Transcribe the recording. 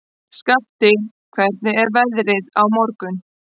Skafti, hvernig er veðrið á morgun?